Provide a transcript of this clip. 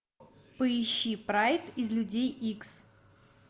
поищи прайд из людей икс